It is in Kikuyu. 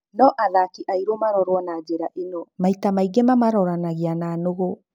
No athaki airu maarorwo na njĩra ĩno, maita maingĩ mamaroranagia na nũgũ.